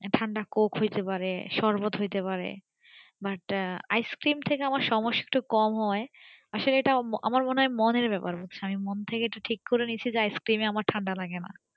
ঠান্ডা coke হইতে পারে শরবত হইতে পারে but ice-cream থেকে আমার সমস্যাটা একটু কম হয় আসলে এটা আমার মনে হয় মনের ব্যাপার আমি মন থেকে ঠিক করে নিয়েছি যে আমার ice cream এ আমার ঠান্ডা লাগেনা